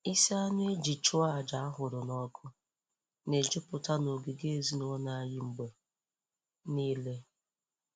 Isi anụ e ji chụọ aja a hụrụ n'ọkụ na-ejupụta n'ogige ezinụlọ anyị mgbe niile.